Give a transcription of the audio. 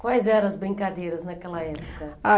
Quais eram as brincadeiras naquela época? Ah